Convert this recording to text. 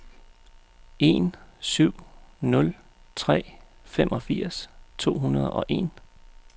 en syv nul tre femogfirs to hundrede og en